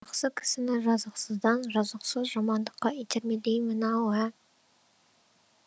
жақсы кісіні жазықсыздан жазықсыз жамандыққа итермелеймін ау ә